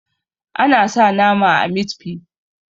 ana sa nama a mit fi